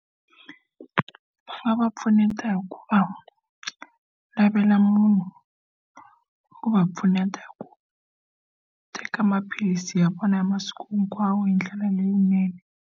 Va nga va pfuneta ku va lavela munhu wa ku va pfuneta hi ku teka maphilisi ya vona ya masiku hinkwawo hi ndlela leyinene.